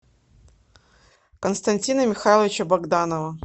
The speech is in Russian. константина михайловича богданова